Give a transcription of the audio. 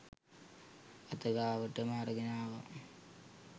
අත ගාවටම අරගෙන ආවා